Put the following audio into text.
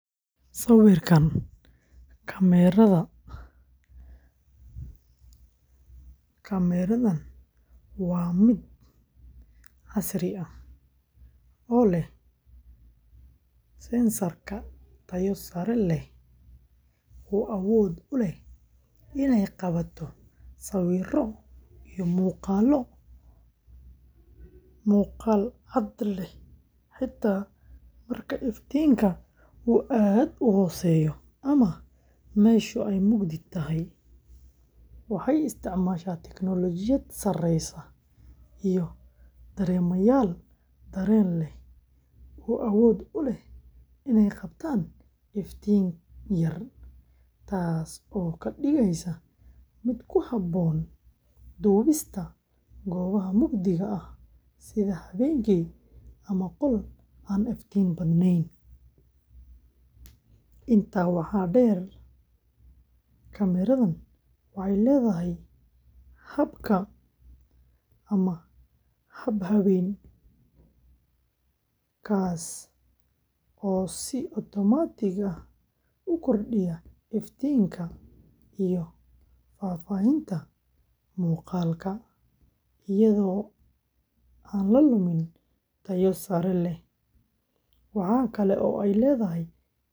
Kaamiradan waa mid casri ah oo leh sensor tayo sare leh oo awood u leh inay qabato sawirro iyo muuqaallo muuqaal cad leh xitaa marka iftiinka uu aad u hooseeyo ama meesha ay mugdi tahay. Waxay isticmaashaa tiknoolajiyadda sareysa iyo dareemayaal dareen leh oo awood u leh inay qabtaan iftiin yar, taasoo ka dhigaysa mid ku habboon duubista goobaha mugdiga ah sida habeenkii ama qolal aan iftiin badnayn. Intaa waxaa dheer, kaamiradan waxay leedahay habka ama hab habeen, kaas oo si otomaatig ah u kordhiya iftiinka iyo faahfaahinta muuqaalka iyadoo aan la lumin tayo sare.